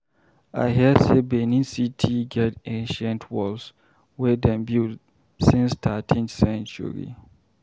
I hear sey Benin-City get ancient walls wey dem build since 13th Century.